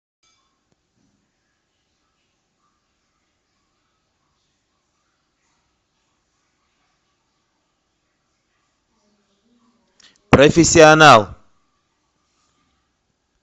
профессионал